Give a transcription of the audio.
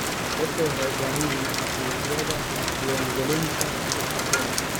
Dadku waxay u baahan yihiin aqoonsiyada diiwaangelinta ganacsiyada.